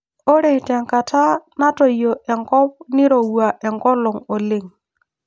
Ore tenkata natoyio enkop nirowua enkolong' oleng'